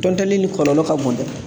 Tɔntɔnni kɔlɔlɔ ka bon dɛ